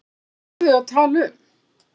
Hvað voru þau að tala um?